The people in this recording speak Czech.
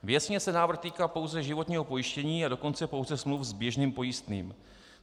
Věcně se návrh týká pouze životního pojištění, a dokonce pouze smluv s běžným pojistným.